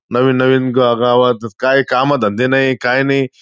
नवीन नवीन गावात काय काम धंदे नाही, काय नाही.